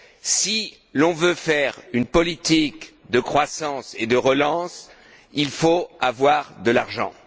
Si l'on veut mener une politique de croissance et de relance, il faut avoir de l'argent